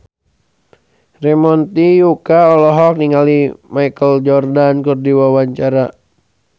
Ramon T. Yungka olohok ningali Michael Jordan keur diwawancara